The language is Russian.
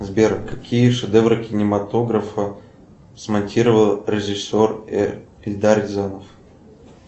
сбер какие шедевры кинематографа смонтировал режиссер эльдар рязанов